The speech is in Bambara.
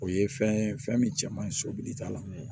O ye fɛn ye fɛn min cɛ man ɲi sobili ta la